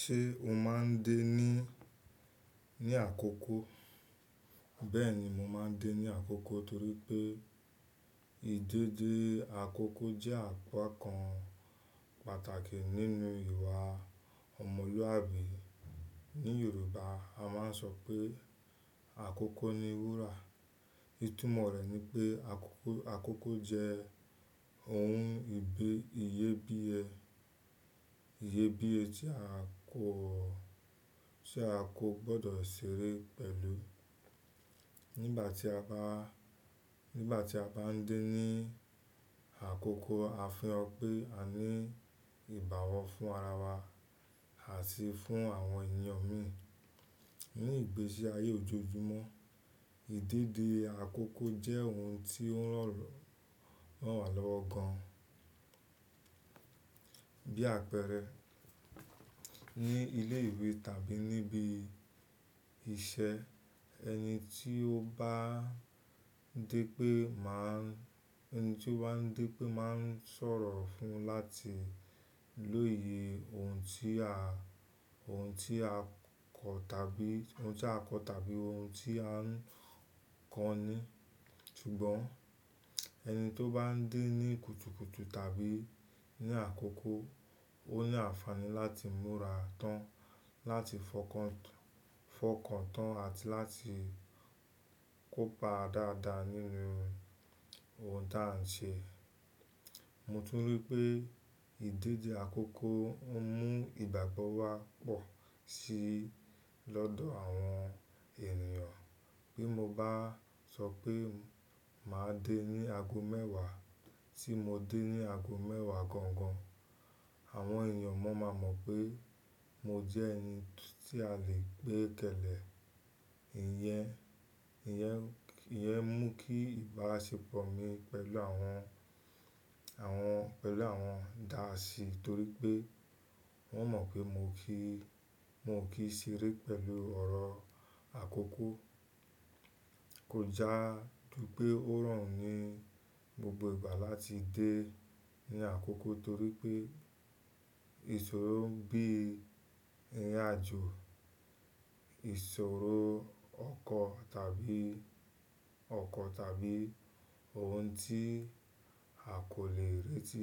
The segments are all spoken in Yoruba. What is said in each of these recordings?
Ṣé o máa ń dé ní, ní àkókó? Bẹ́ẹ̀ni, mo máa ń dé ní àkókó torí pé ìdédé àkókó jẹ́ àpá kan pàtàkì nínú ìwà ọmọlúàbí. Ní Yorùbá a máa ń sọ pé àkókó ni wúrà. Ìtumọ̀ rẹ̀ ni pé àkókó, àkókó jẹ́ ohun ìbé, ìyé bí ẹ, ìyé bí ẹ tí a kò, tí a kò gbọdọ̀ ṣeré pẹ̀lú. Nígbà tí a bá, nígbà tí a bá ń dé ní àkókó, a fi an pé a ní ìbàwọ fún ara wa àti fún àwọn ènìyàn mi. Ní ìgbésí ayé ojoojúmọ́, ìdédé àkókó jẹ́ ohun tí ó ń ran, ran wá lọ́wọ́ gan. Bí àpẹẹrẹ, ní ilé ìwé tàbí níbí iṣẹ́ ẹni tí ó bá ń dé pé máa ń, ẹni tí ó bá ń dé pé máa ń sọ̀rọ̀ fún láti lóye ohun tí a, ohun tí a kọ tàbí ohun tí a kọ tàbí ohun tí a ń kọ ni. Ṣùgbọ́n ẹni tó bá ń dé ní kùtùkùtù tàbí ní àkókó, ó ní àǹfààní láti múra tán, láti fọkàn, fọkàn tán àti láti kópa dáadáa nínú ohun tó à ń ṣe. Mo tún rí pé ìdédé àkókó ń mú ìgbàgbọ́ wá pọ̀ sí lọ́dọ̀ àwọn ènìyàn. Bí mo bá sọ pé màá dé ní ago mẹ́wàá tí mo dé ní ago mẹ́wàá gangan, àwọn ènìyàn mọ̀ọ́ máa mọ̀ pé mo jẹ́ ẹni tí a lè gbé kẹ̀lẹ̀. Ìyẹn, ìyẹn, ìyẹn mú kí ìbáṣepọ̀ mi pẹ̀lú àwọn, àwọn, pẹ̀lú àwọn dáàsí torí pé wọ́n mọ̀ pé mo kì í, mo kì í ṣeré pẹ̀lú ọ̀rọ̀ àkókó. Kò já ju pé ó rọrùn ni gbogbo ìgbà láti dé ní àkókó torí pé ìṣòro bí i ìrìnàjò, ìṣòro ọkọ̀ tàbí ọkọ̀ tàbí ohun tí a kò lè retí,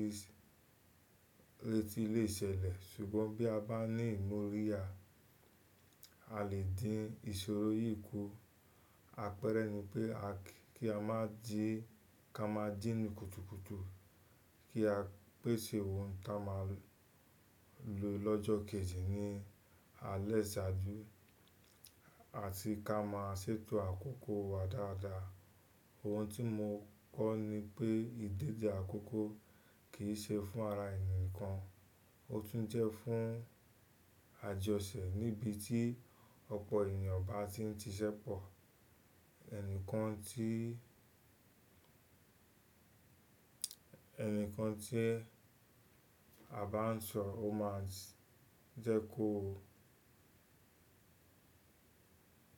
retí lè ṣẹlẹ̀. Ṣùgbọ́n bí a bá ní ìmóríyá, a lè dín ìṣòro yìí kù. Àpẹẹrẹ ni pé a kí, kí a má jí, kí a máa jí ní kùtùkùtù, kí á pèsè ohun tí a máa lò lọ́jọ́ kejì ní alẹ́ ìṣáájú àti kí a máa ṣètò àkókó wa dáadáa. Ohun tí mo kọ́ ni pé ìdédé àkókó kì í ṣe fún ara ènìyàn kan, ó tún jẹ́ fún àjọṣẹ̀ níbi tí ọ̀pọ̀ ènìyàn bá ti ń ṣiṣẹ́ pọ̀. Ẹnìkan tí, ẹnìkan tí a bá ń sọ ó máa jẹ́ kó,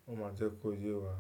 ó máa jẹ́ kó yé wa.